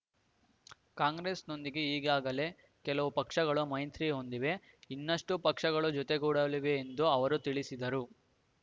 ಕಾಂಗ್ರೆಸ್‌ನೊಂದಿಗೆ ಈಗಾಗಲೇ ಕೆಲವು ಪಕ್ಷಗಳು ಮೈತ್ರಿ ಹೊಂದಿವೆ ಇನ್ನಷ್ಟುಪಕ್ಷಗಳು ಜೊತೆಗೂಡಲಿವೆ ಎಂದು ಅವರು ತಿಳಿಸಿದರು